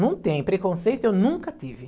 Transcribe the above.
Não tem, preconceito, eu nunca tive.